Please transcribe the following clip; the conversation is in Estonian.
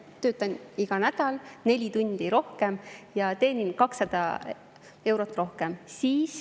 Töötan iga nädal neli tundi rohkem ja teenin 200 eurot rohkem.